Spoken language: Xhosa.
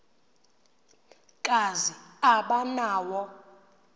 kazi aba nawo